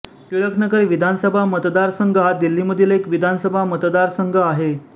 टिळकनगर विधानसभा मतदारसंघ हा दिल्लीमधील एक विधानसभा मतदारसंघ आहे